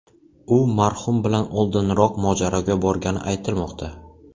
U marhum bilan oldinroq mojaroga borgani aytilmoqda.